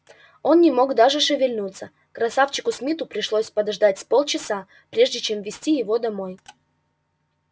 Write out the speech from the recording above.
он не мог даже шевельнуться красавчику смиту пришлось подождать с полчаса прежде чем вести его домой